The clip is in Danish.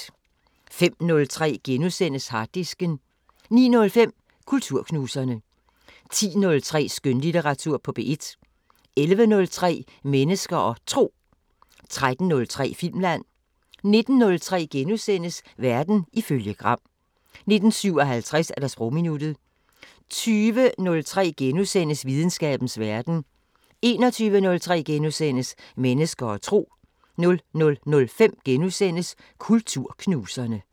05:03: Harddisken * 09:05: Kulturknuserne 10:03: Skønlitteratur på P1 11:03: Mennesker og Tro 13:03: Filmland 19:03: Verden ifølge Gram * 19:57: Sprogminuttet 20:03: Videnskabens Verden * 21:03: Mennesker og Tro * 00:05: Kulturknuserne *